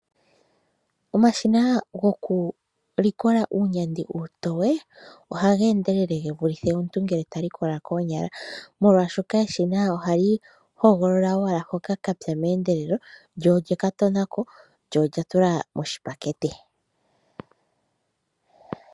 Omashina gokulikola uunyandi uutoye ohageendelele ge vulithe omuntu ngele talikola koonyala, molwashoka eshina ohali hogolola owala hoka kapya meendelelo eta lika tonako lyo olya tula moshipakete.